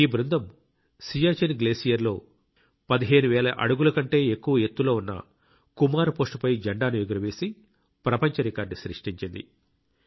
ఈ బృందం సియాచిన్ గ్లేసియర్ లో 15 వేల అడుగుల కంటే ఎక్కువ ఎత్తులో ఉన్న కుమార్ పోస్ట్ పై జెండాను ఎగురవేసి ప్రపంచ రికార్డు సృష్టించింది